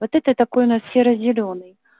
вот это такой у нас серо-зелёный